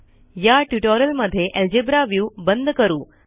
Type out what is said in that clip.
या ट्युटोरियलमध्ये algebra view बंद करू